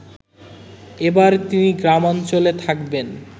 এবার তিনি গ্রামাঞ্চলে থাকবেন